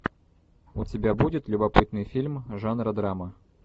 у тебя будет любопытный фильм жанра драма